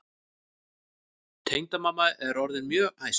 Tengdamamma er orðin mjög æst.